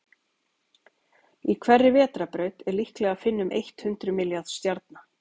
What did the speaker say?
í hverri vetrarbraut er líklega að finna um eitt hundruð milljarða stjarna